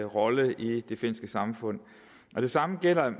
rolle i det finske samfund det samme gælder